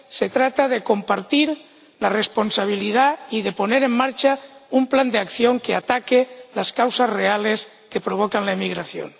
Se trata de compartir la responsabilidad y de poner en marcha un plan de acción que ataque las causas reales que provocan la emigración.